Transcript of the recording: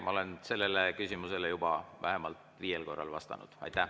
Ma olen sellele küsimusele juba vähemalt viiel korral vastanud.